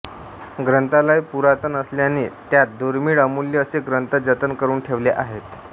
ग्रंथालय पुरातन असल्याने त्यात दुर्मिळ अमूल्य असे ग्रंथ जतन करून ठेवले आहेत